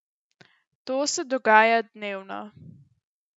To se dogaja dnevno.